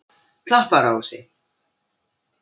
Klapparási